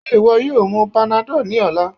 Ṣe iwọ yoo mu panadol ni ọla?